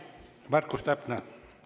Märkus täpne.